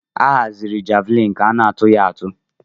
Ahaziri javlin ka ana atụ ya atụ.